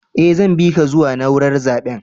Eh, zan bi ka zuwa naúrar zaben.